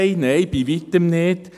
Nein, bei Weitem nicht.